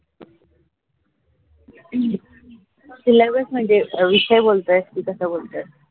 syllabus म्हनजे विषय बोलतोय का कासे बोल्थोस?